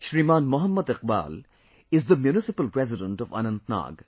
Shriman Mohd Iqbal is the Municipal President of Anantnag